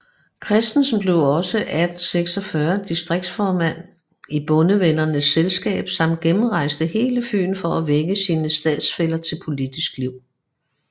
Christensen blev også 1846 distriktsformand i Bondevennernes Selskab samt gennemrejste hele Fyn for at vække sine standsfæller til politisk liv